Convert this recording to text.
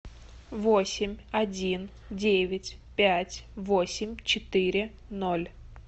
восемь один девять пять восемь четыре ноль